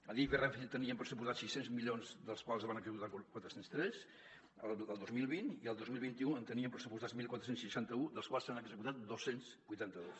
adif i renfe tenien pressupostats sis cents milions dels quals se’n van executar quatre cents i tres el dos mil vint i el dos mil vint u en tenien pressupostats catorze seixanta u dels quals se n’han executat dos cents i vuitanta dos